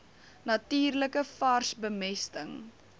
natuurlike vars bemesting